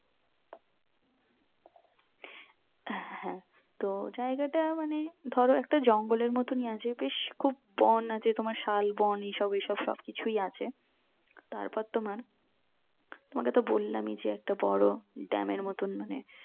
হ্যাঁ তো জায়গাটা মানে ধরো একটা জঙ্গল এর মতো আছে বেশ খুব বন আছে তোমার সাল বন এসব এসব সব কিছুই আছে তারপর তোমার তোমাকে তো বললামই একটা বোরো dam এর মতন মানে